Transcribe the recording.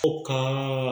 Ko ka